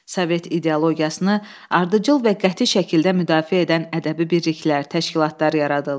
Sovet ideologiyasını ardıcıl və qəti şəkildə müdafiə edən ədəbi birliklər, təşkilatlar yaradıldı.